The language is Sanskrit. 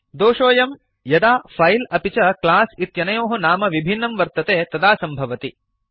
दोषोऽयं यदा फैल् अपि च क्लास् इत्यनयोः नाम विभिन्नं वर्तते तदा सम्भवति